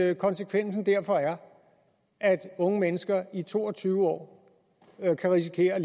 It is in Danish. at konsekvensen derfor er at unge mennesker i to og tyve år kan risikere at